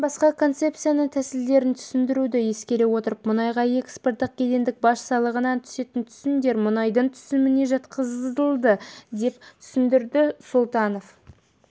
бұдан басқа концепцияның тәсілдерін түсіндіруді ескере отырып мұнайға экспорттық кедендік баж салығынан түсетін түсімдер мұнайдың түсіміне жатқызылды деп түсіндірді сұлтанов